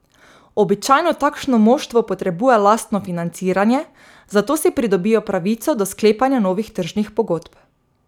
Običajno takšno moštvo potrebuje lastno financiranje, zato si pridobijo pravico do sklepanja novih tržnih pogodb.